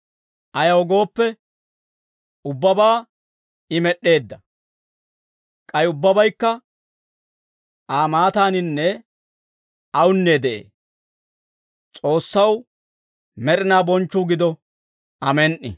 Ayaw gooppe, ubbabaa I med'd'eedda; k'ay ubbabaykka Aa maataaninne awunne de'ee; S'oossaw med'inaw bonchchuu gido. Amen"i.